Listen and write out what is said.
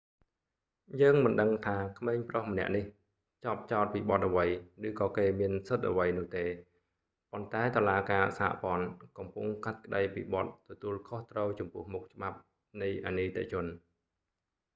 យើងមិនដឹងថាក្មេងប្រុសម្នាក់នេះជាប់ចោទពីបទអ្វី ឬក៏គេមានសិទ្ធិអ្វីនោះទេ ប៉ុន្តែតុលាការសហព័ន្ធកំពុងកាត់ក្តីពីបទទទួលខុសត្រូវចំពោះមុខច្បាប់នៃអនីតិជន